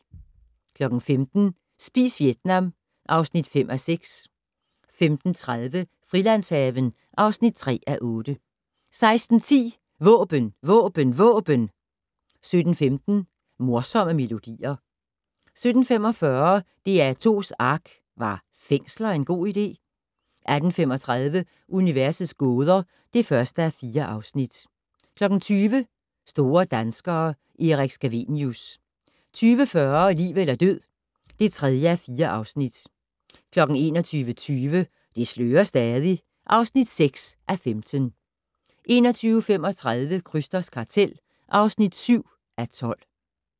15:00: Spis Vietnam (5:6) 15:30: Frilandshaven (3:8) 16:10: Våben Våben Våben! 17:15: Morsomme Melodier 17:45: DR2's ARK - Var fængsler en god idé? 18:35: Universets gåder (1:4) 20:00: Store danskere - Erik Scavenius 20:40: Liv eller død (3:4) 21:20: Det slører stadig (6:15) 21:35: Krysters kartel (7:12)